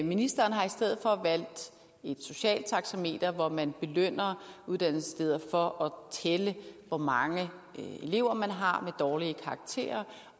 ministeren har i stedet for valgt et socialt taxameter hvor man belønner uddannelsessteder for tælle hvor mange elever har med dårlige karakterer